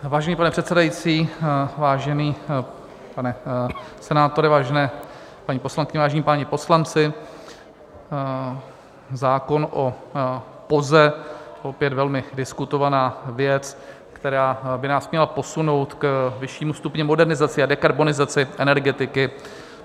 Vážený pane předsedající, vážený pane senátore, vážené paní poslankyně, vážení páni poslanci, zákon o POZE, opět velmi diskutovaná věc, která by nás měla posunout k vyššímu stupni modernizace a dekarbonizace energetiky.